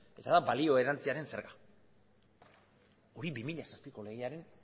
eta da balio erantsiaren zerga hori bi mila zazpiko legearen